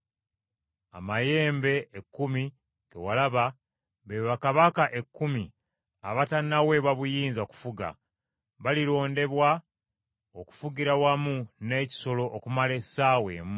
“Amayembe ekkumi ge walaba be bakabaka ekkumi abatannaweebwa buyinza kufuga; balirondebwa okufugira wamu n’ekisolo okumala essaawa emu.